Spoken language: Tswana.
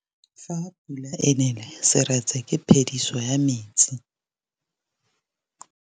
Fa pula e nelê serêtsê ke phêdisô ya metsi.